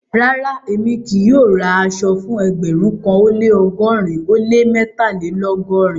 Rárá, èmi kì yóò rá àṣọ̀ fún ẹgbérùn kan ó lẹ́ ọgọ́rìn ó lẹ́ mẹ́tàlélọ́gọ́rìn.